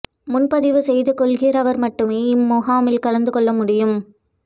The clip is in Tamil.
முன்பதிவு செய்து கொள்கிறவர் மட்டுமே இம் முகாமில் கலந்து கொள்ள முடியும்